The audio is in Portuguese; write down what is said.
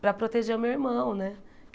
Para proteger o meu irmão, né?